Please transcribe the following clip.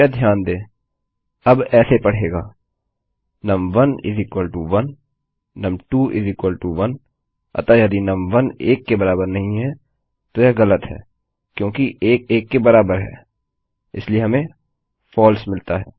कृपया ध्यान दें यह अब ऐसे पढ़ेगा नुम1 1 नुम2 1 अतः यदि नुम1 1 के बराबर नहीं है तो यह ग़लत है क्योंकि 1 1 के बराबर है इसलिए हमें फलसे मिलता है